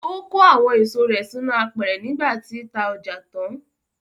Ó kó àwọn èso rẹ̀ sínú apẹ̀rẹ̀ nígbà tí ta ọjà tán.